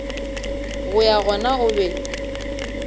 go ya gona o be